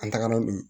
An tagara bi